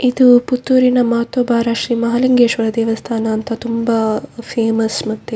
ಇದು ಪುತ್ತೂರಿನ ಮಹತ್ವಭಾರ ಶ್ರೀ ಮಹಾಲಿಂಗೇಶ್ವರ ದೇವಸ್ಥಾನ ಅಂತ ತುಂಬ ಫೇಮಸ್‌ ಮತ್ತೆ --